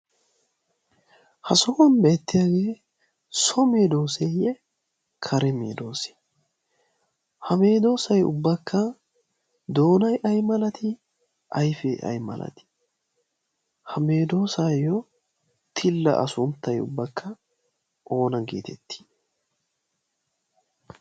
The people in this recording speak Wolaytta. ha sohuwan beettiyaagee sobmedooseeyye kare meedoosi ha meedoosay ubbakka doonay ay malati ayfee ay malatii ha meedoosaayyo tilla a sunttay ubbakka oona geetettii?